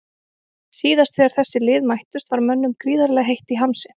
Síðast þegar þessi lið mættust var mönnum gríðarlega heitt í hamsi.